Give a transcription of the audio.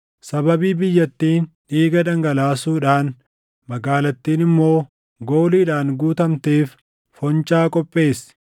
“ ‘Sababii biyyattiin dhiiga dhangalaasuudhaan, magaalattiin immoo gooliidhaan guutamteef foncaa qopheessi.